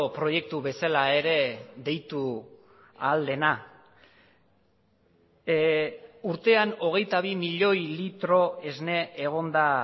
proiektu bezala ere deitu ahal dena urtean hogeita bi milioi litro esne egon da